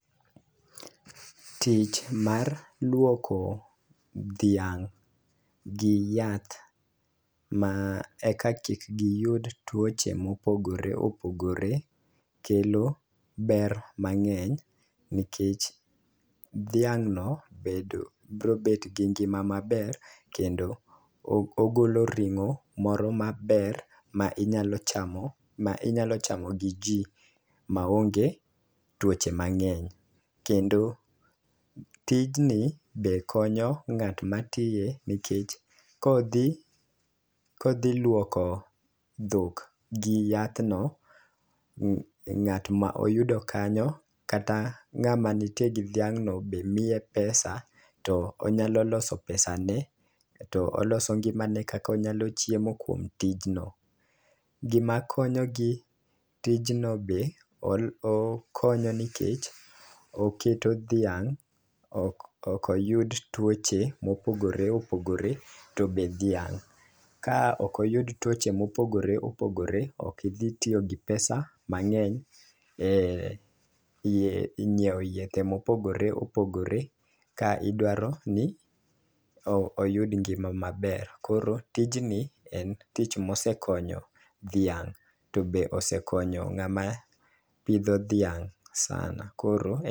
Tich mar luoko dhiang' gi yath ma eka kik giyud tuoche mopogore opogore kelo ber mang'eny nikech dhiang' no bedo bro bet gi ngima maber kendo o ogolo ring'o moro maber ma inyalo chamo ma inyalo chamo gi jii maonge tuoche mang'eny. Kendo tijni be konyo ng'at ma tiye nikech kodhi kodhi luoko dhok gi yadhno ng'at ma oyudo kanyo kata ng'ama ntie gi dhiang' no be miye pesa to onyalo loso pesa ne to oloso ngimane kaka onyalo chiemo kuom tijno gima konyo gi tijno be okonyo nikeh oketo dhiang' ok yud tuoche mopogore opogore to be dhiang' ka okoyud tuoche mopogore opogore ok idhi tiyo gi pesa mang'eny e nyiewo yedhe mopogore opogore ka idwaro ni o oyud ngima maber .Koro tijni en tich mosekonyo dhiang' to be osekonyo ng'ama pidho dhiang' sana koro